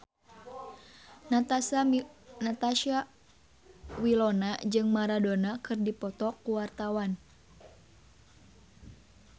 Natasha Wilona jeung Maradona keur dipoto ku wartawan